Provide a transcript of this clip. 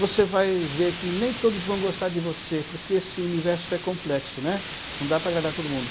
Você vai ver que nem todos vão gostar de você, porque esse universo é complexo, né, não dá para agradar todo mundo.